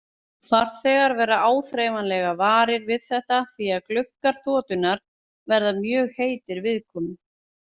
Farþegar verða áþreifanlega varir við þetta því að gluggar þotunnar verða mjög heitir viðkomu.